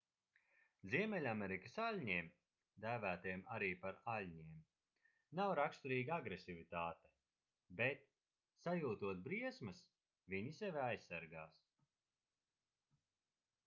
ziemeļamerikas aļņiem dēvētiem arī par aļņiem nav raksturīga agresivitāte bet sajūtot briesmas viņi sevi aizsargās